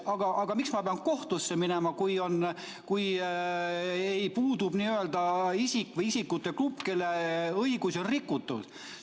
Aga miks ma pean kohtusse minema, kui puudub isik või isikute grupp, kelle õigusi on rikutud?